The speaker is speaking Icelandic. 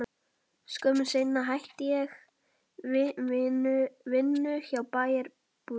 Skömmu seinna hætti ég vinnu hjá Bæjarútgerðinni.